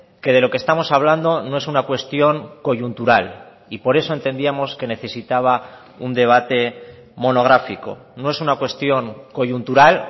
que de lo que estamos hablando no es una cuestión coyuntural y por eso entendíamos que necesitaba un debate monográfico no es una cuestión coyuntural